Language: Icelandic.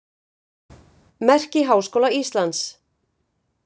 Merki Háskóla Íslands.